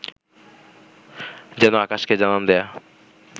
যেন আকাশকে জানান দেয়া